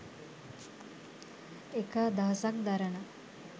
එක අදහසක් දරන